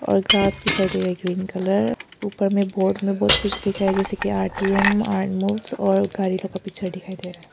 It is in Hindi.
और ग्रास दिखाई दे रहा है ग्रीन कलर ऊपर में बोर्ड में बहुत कुछ दिख रहा है जैसे कि आर_टी_एम अर्थमूव्स और गाड़ी लोग का पिक्चर दिखाई दे रहा है।